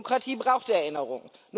Demokratie braucht Erinnerung.